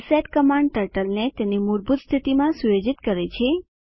reset command ટર્ટલને તેની મૂળભૂત સ્થિતિમાં સુયોજિત કરે છે